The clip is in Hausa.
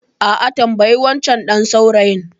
A'a, tambayi wancan ɗan saurayin.